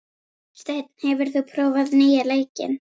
Steinn, hefur þú prófað nýja leikinn?